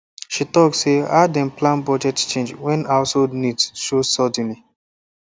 she talk say how dem plan budget change when household needs show suddenly